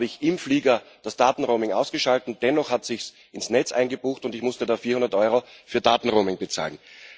Da habe ich im Flieger das Datenroaming ausgeschaltet, dennoch hat es sich ins Netz eingebucht, und ich musste da 400 Euro für Datenroaming bezahlen.